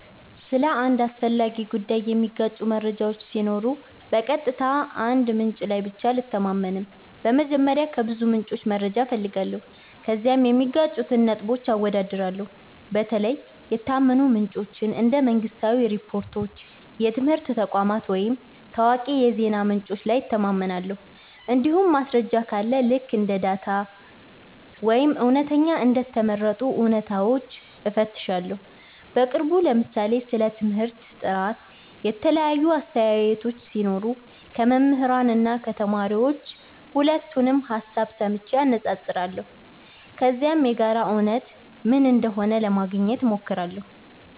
ስለ አንድ አስፈላጊ ጉዳይ የሚጋጩ መረጃዎች ሲኖሩ በቀጥታ አንድ ምንጭ ላይ ብቻ አልተማመንም። በመጀመሪያ ከብዙ ምንጮች መረጃ እፈልጋለሁ፣ ከዚያም የሚጋጩትን ነጥቦች አወዳድራለሁ። በተለይ የታመኑ ምንጮች እንደ መንግሥታዊ ሪፖርቶች፣ የትምህርት ተቋማት ወይም ታዋቂ የዜና ምንጮች ላይ እተማመናለሁ። እንዲሁም ማስረጃ ካለ ልክ እንደ ዳታ ወይም እውነተኛ እንደ ተመረጡ እውነታዎች እፈትሻለሁ። በቅርቡ ለምሳሌ ስለ ትምህርት ጥራት የተለያዩ አስተያየቶች ሲኖሩ ከመምህራን እና ከተማሪዎች ሁለቱንም ሀሳብ ሰምቼ አነፃፅራለሁ። ከዚያም የጋራ እውነት ምን እንደሆነ ለማግኘት ሞክራለሁ።